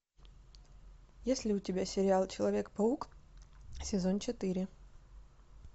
есть ли у тебя сериал человек паук сезон четыре